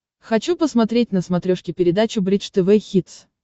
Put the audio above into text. хочу посмотреть на смотрешке передачу бридж тв хитс